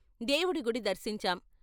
దేవుడి గుడి దర్శించాం.